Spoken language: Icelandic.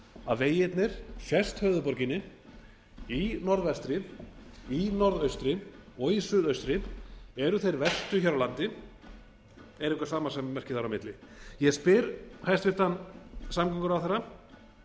að vegirnir fjærst höfuðborginni í norðvestri í norðaustri og í suðaustri eru þeir verstu hér á landi er eitthvað samasemmerki þarna á milli ég spyr hæstvirtur samgönguráðherra